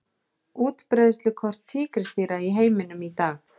Útbreiðslukort tígrisdýra í heiminum í dag.